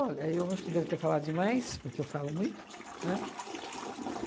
eu acho que eu devo ter falado demais, porque eu falo muito, né?